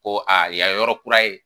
Ko aa yan ye yɔrɔ kura ye